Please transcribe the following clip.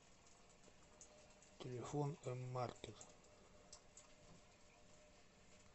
телефон эммаркет